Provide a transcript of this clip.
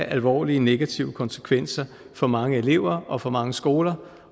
alvorlige negative konsekvenser for mange elever og for mange skoler